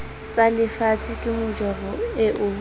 tsalefatshe ke majoro eo ha